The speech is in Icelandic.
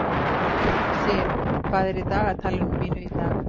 Siv, hvað er í dagatalinu mínu í dag?